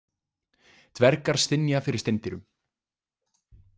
Dvergar stynja fyrir steindyrum.